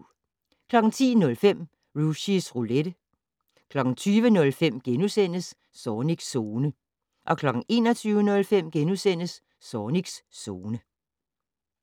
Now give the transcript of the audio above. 10:05: Rushys Roulette 20:05: Zornigs Zone * 21:05: Zornigs Zone *